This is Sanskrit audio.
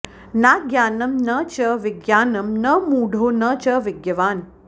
नाज्ञानं न च विज्ञानं न मूढो न च विज्ञवान्